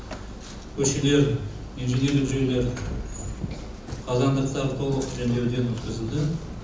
көшелер инженерлік жүйелер қазандықтар толық жөндеуден өткізілді